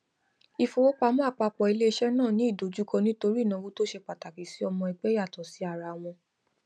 ìfowópamọ àpapọ iléiṣẹ náà ní ìdojúkọ nítorí ìnáwó tó ṣe pàtàkì sí ọmọ ẹgbẹ yàtọ sí ara wọn